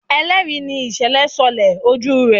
ẹlẹri ní ìsèlè sọlẹ ojú rẹ.